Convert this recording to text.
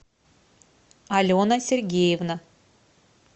алена сергеевна